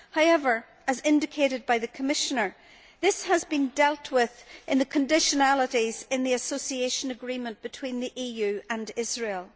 However, as indicated by the Commissioner, this has been dealt with in the conditionalities in the Association Agreement between the EU and Israel.